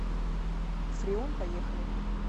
фреон поехали